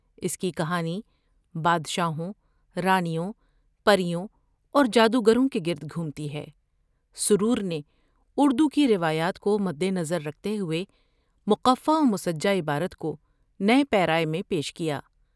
اس کی کہانی بادشاہوں ، رانیوں ، پر یوں اور جادوگروں کے گردگھومتی ہے ، سرور نے اردو کی روایات کو مدنظر رکھتے ہوۓ منفی وستجع عبارت کو نئے پیراۓ میں پیش کیا ۔